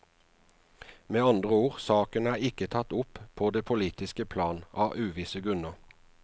Med andre ord, saken er ikke tatt opp på det politiske plan, av uvisse grunner.